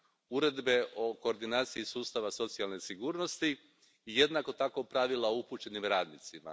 Uredbe o koordinaciji sustava socijalne sigurnosti i, jednako tako, pravila o upućenim radnicima.